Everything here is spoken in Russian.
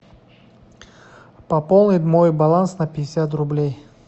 пополнить мой баланс на пятьдесят рублей